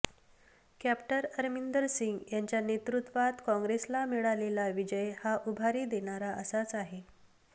captor Amarinder Singh यांच्या नेतृत्त्वात काँग्रेसला मिळालेला विजय हा उभारी देणारा असाच आहे